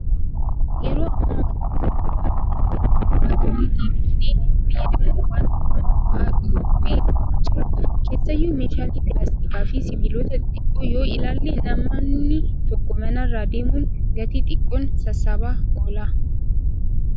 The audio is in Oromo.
Yeroo ammaa wantoota duraan itti fayyadamaa turre deebifnee fayyadamuun waan baramaa ta'aa dhufaa jira. Keessaayyuu meeshaalee pilaastikaa fi sibiilota xixiqqoo yoo ilaalle namani tokko manarra deemuun gatii xiqqoon sassaabaa oola.